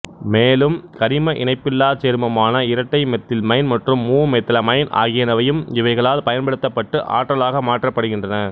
மேலும் கரிம இணைப்பில்லாச் சேர்மமான இரட்டைமெத்தில்மைன் மற்றும் மூமெத்திலமைன் ஆகியனவையும் இவைகளால் பயன்படுத்தப்பட்டு ஆற்றலாக மாற்றப்படுகின்றன